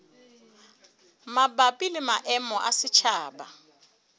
mabapi le maemo a setjhaba